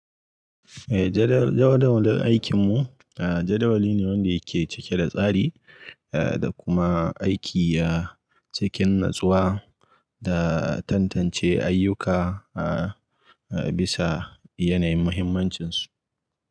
Eh jadawali, jadawalin aikinmu. Aa jadawali ne wanda yake cike da tsari aa da kuma aiki a cikin natsuwa da tantance ayyuka aa bisa yanayin muhimmancinsu.